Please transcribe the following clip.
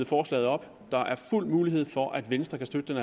forslaget op der er fuld mulighed for at venstre kan støtte den